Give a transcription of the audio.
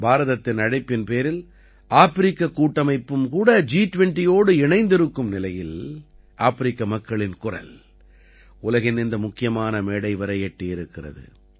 பாரதத்தின் அழைப்பின் பேரில் ஆப்பிரிக்கக் கூட்டமைப்பும் கூட ஜி20யோடு இணைந்து இருக்கும் நிலையில் ஆப்பிரிக்க மக்களின் குரல் உலகின் இந்த முக்கியமான மேடை வரை எட்டியிருக்கிறது